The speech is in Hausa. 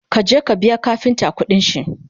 ka je ka biya kafinta ƙuɗinshi!